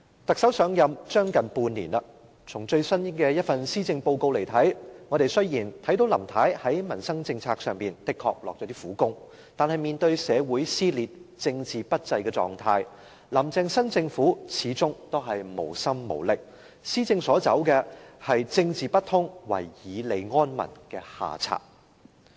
特首上任將近半年，從最新一份施政報告來看，雖然我們看到林太在民生政策方面的確下了一些苦功，但面對社會撕裂、政治不濟的狀態，"林鄭"新政府始終無心無力，施政所走的是"政治不通、唯以利安民"的下策。